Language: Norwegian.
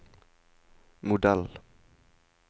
modell